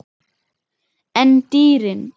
En dýrin?